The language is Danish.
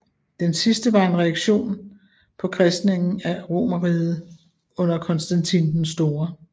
Det sidste var en reaktion på kristningen af Romerriget under Konstantin den Store